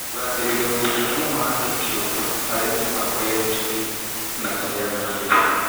Kũgathĩrĩria ũigithia wa andũ kĩumbe harĩ mĩbango ya itugĩ na kũheana mbeca